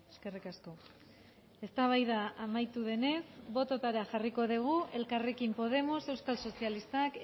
eskerrik asko eztabaida amaitu denez bototara jarriko dugu elkarrekin podemos euskal sozialistak